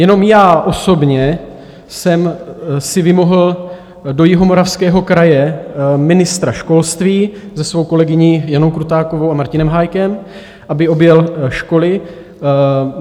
Jenom já osobně jsem si vymohl do Jihomoravského kraje ministra školství se svou kolegyní Janou Krutákovou a Martinem Hájkem, aby objel školy.